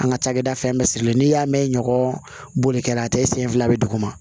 An ka cakɛda fɛn bɛɛ sirilen don n'i y'a mɛn ɲɔgɔn bolikɛla a tɛ senfila bɛ duguma